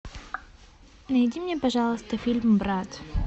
найди мне пожалуйста фильм брат